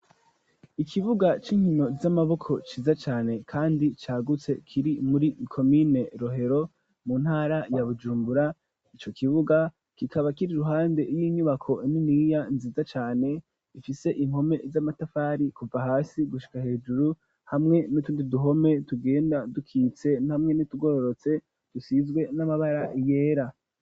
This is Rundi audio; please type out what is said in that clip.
Ikibuga c'inkino z'amaboko, ciza cane, kandi cagutse, kiri muri komine Rohero, mu ntara ya Bujumbura; ico kibuga kikaba, kiri iruhande y'inyubako niniya, nziza cane, ifise impome z'amatafari, kuva hasi gushika hejuru; hamwe n'utundi duhome, tugenda dukitse, hamwe n'utugororotse, dusizwe n'amabara yera.